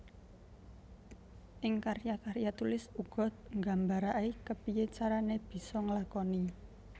Ing karya karya tulis uga nggambaraké kepiyé carané bisa nglakoni